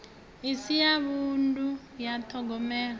isi ya vhunḓu ya ṱhogomelo